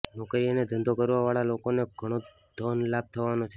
નોકરી અને ધંધો કરવા વાળા લોકોને ઘણો જ ધન લાભ થવાનો છે